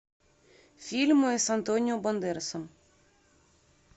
фильмы с антонио бандерасом